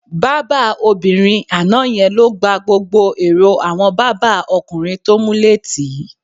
Bábà obìnrin àná ye̩n ló gba gbogbo èrò àwo̩n bàbá o̩kùnrin tó múlé tì í